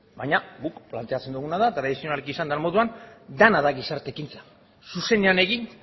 baina guk planteatzen duguna da tradizionalki esan den moduan dena da gizarte ekintza zuzenean egin